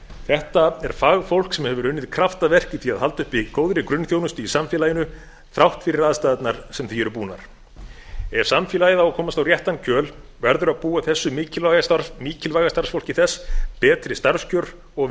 þetta er fagfólk sem hefur unnið kraftaverk í því að halda uppi góðri grunnþjónustu í samfélaginu þrátt fyrir aðstæðurnar sem því eru búnar ef samfélagið á að komast á réttan kjöl verður að búa þessu mikilvæga starfsfólki þess betri starfskjör og